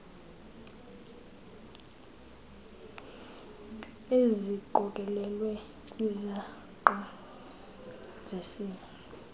eziqokelelwe kwizangqa zesimo